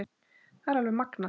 Það er alveg magnað.